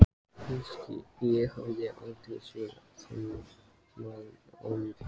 Ég hafði aldrei séð þennan mann áður.